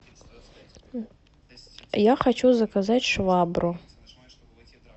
я хочу заказать швабру